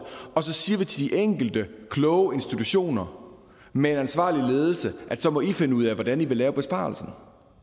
og så siger vi til de enkelte kloge institutioner med en ansvarlig ledelse at de så må finde ud af hvordan de vil lave besparelsen